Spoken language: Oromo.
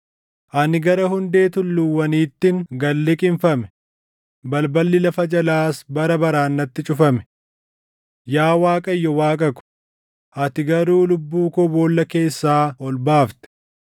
Ani gara hundee tulluuwwaniittin gad liqimfame; balballi lafa jalaas bara baraan natti cufame. Yaa Waaqayyo Waaqa ko, ati garuu lubbuu koo boolla keessaa ol baafte.